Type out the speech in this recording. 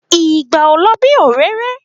Ìgbà ò lọ bí òréré